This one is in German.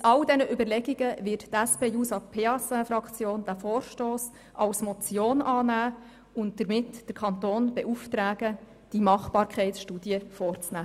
Aus all diesen Überlegungen heraus, wird die SP-JUSO-PSAFraktion den Vorstoss als Motion annehmen und damit den Kanton beauftragen, die Machbarkeitsstudie vorzunehmen.